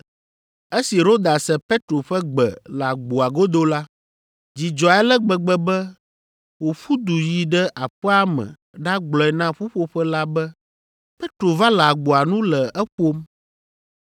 Esi Roda se Petro ƒe gbe le agboa godo la, dzi dzɔe ale gbegbe be wòƒu du yi ɖe aƒea me ɖagblɔe na ƒuƒoƒe la be “Petro va le agboa nu le eƒom!”